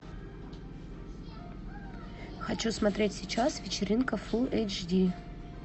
хочу смотреть сейчас вечеринка фул эйч ди